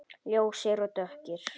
Ljósir og dökkir.